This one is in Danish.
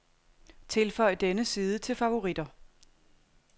Tilføj denne side til favoritter.